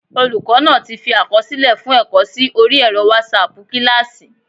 Olùkọ́ náa ti fi àkọsílẹ̀ fún ẹ̀kọ́ sí orí ẹ̀rọ wásaàpù kílásì